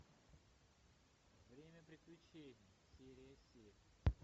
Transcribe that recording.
время приключений серия семь